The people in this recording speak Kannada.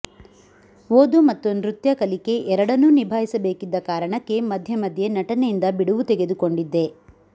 ಓದು ಮತ್ತು ನೃತ್ಯ ಕಲಿಕೆ ಎರಡನ್ನೂ ನಿಭಾಯಿಸಬೇಕಿದ್ದ ಕಾರಣಕ್ಕೆ ಮಧ್ಯೆ ಮಧ್ಯೆ ನಟನೆಯಿಂದ ಬಿಡುವು ತೆಗೆದುಕೊಂಡಿದ್ದೆ